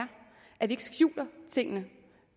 at vi ikke skjuler tingene